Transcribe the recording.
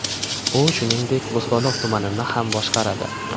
U, shuningdek, Bo‘stonliq tumanini ham boshqaradi.